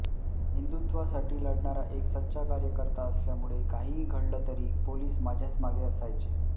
हिंदुत्त्वासाठी लढणारा एक सच्चा कार्यकर्ता असल्यामुळे काहीही घडलं तरी पोलीस माझ्याच मागे असायचे